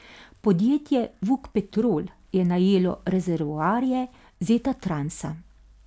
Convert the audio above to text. Podjetje Vuk Petrol je najelo rezervoarje Zetatransa.